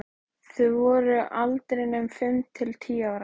Þau voru á aldrinum fimm til tíu ára.